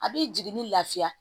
A bɛ jiginni lafiya